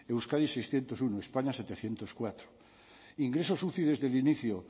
euskadi seiscientos uno españa setecientos cuatro ingresos uci desde el inicio